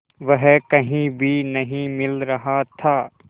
वह कहीं भी नहीं मिल रहा था